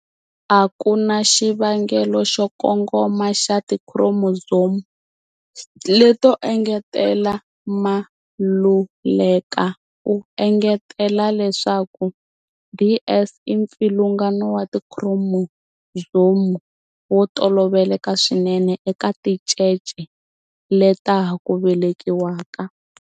A ku na xivangelo xo kongoma xa tikhiromozomu leto engetela. Maluleka u engetela leswaku DS i mpfilungano wa tikhiromozomu wo toloveleka swinene eka tincece leta ha ku velekiwaka.